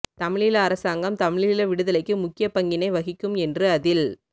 தமிழீழ அரசாங்கம் தமிழீழ விடுதலைக்கு முக்கிய பங்கினை வகிக்கும் என்று அதில்